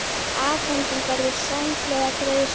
Afhending verður samhliða greiðslu